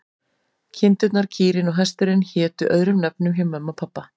Kindurnar, kýrin og hesturinn hétu öðrum nöfnum hjá mömmu en pabba.